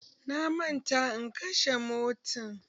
Na manta in kashe motan